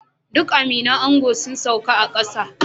Duk aminin ango sun sauka a kasa